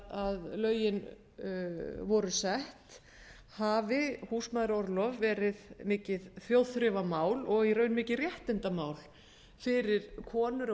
þegar lögin voru sett hafi húsmæðraorlof verið mikið þjóðþrifamál og í raun mikið réttindamál fyrir konur